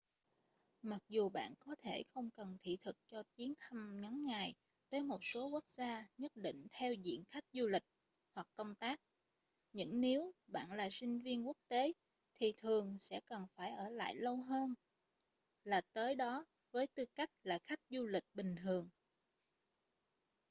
mặc dù bạn có thể không cần thị thực cho chuyến thăm ngắn ngày tới một số quốc gia nhất định theo diện khách du lịch hoặc công tác những nếu bạn là sinh viên quốc tế thì thường sẽ cần phải ở lại lâu hơn là tới đó với tư cách là khách du lịch bình thường